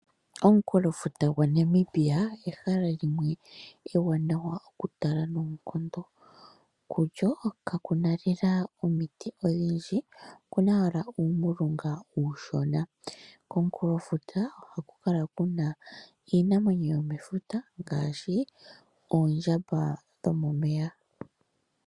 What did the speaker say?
Omukulofuta gwaNamibia ehala limwe ewanawa okutala noonkondo . Kulyo kakuna lela omiti odhindji , okuna owala uulunga uushona. Komukulofuta ohaku kala kuna iinamwenyo yomefuta ngaashi oombwa dhomeya .